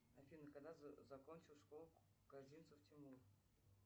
афина когда закончил школу козинцев тимур